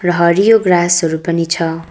र हरियो ग्रासहरू पनि छ।